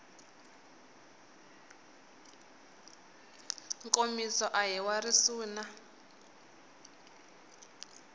nkomiso a hi wa risuna